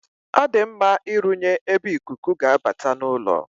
Ọ dị mma ịrụnye ebe ikuku ga-abata n'ụlọ.